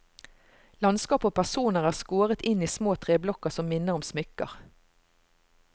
Landskap og personer er skåret inn i små treblokker som minner om smykker.